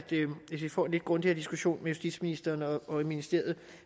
hvis vi får en lidt grundigere diskussion med justitsministeren og ministeriet